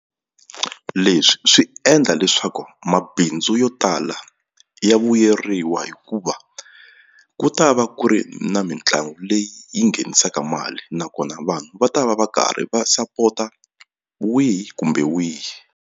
Leswi swi endla leswaku mabindzu yo tala ya vuyeriwa hikuva ku ta va ku ri na mitlangu leyi yi nghenisaka mali nakona vanhu va ta va va karhi va sapota wihi kumbe wihi.